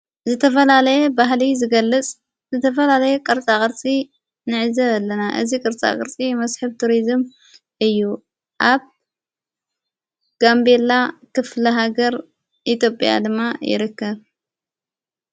ዝተላለየ ባህሊ ዝገልጽ ዝተፈላለየ ቕርጻ ቕርፂ ነዕዘ ኣለና እዝ ቕርጻ ቕርጺ መስሕብ ቱርዝም እዩ ኣ ጋምቤላ ክፍሊ ሃገር ኢቶጴያ ድማ ይርከብ።